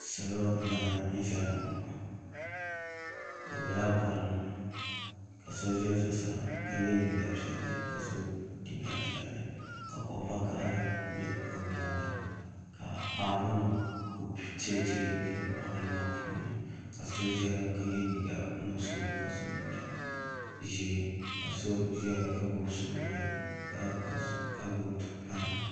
Salo n laɣam ʒɛya ŋo bi biɛla boɣali ni ka so ʒɛ zuɣusaa ka yɛ liiga piɛlli ka so jinjɛm piɛlli ka kuɣu vakaɣali ʒɛ o nyaanga ka paapu nim ku teei teei gili boɣali maa puuni ka so ʒɛya ka yɛ liiga nuɣso ka so jinjɛm ʒiɛ ka so ʒɛya ka gbubi pai